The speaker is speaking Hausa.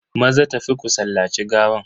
Maza tafi ku sallaci gawan.